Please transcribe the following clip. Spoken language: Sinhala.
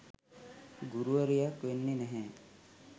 ගුරුවරියක් වෙන්නේ නැහැ